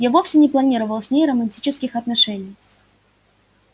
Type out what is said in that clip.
я вовсе не планировал с ней романтических отношений